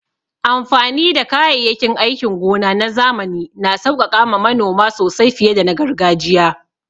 Amfani da kayayyakin aikin gona na zamani na sauƙaƙa ma manoma sosai fiye da na gargajiya.